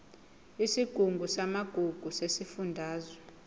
isigungu samagugu sesifundazwe